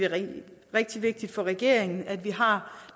rigtig vigtigt for regeringen at vi har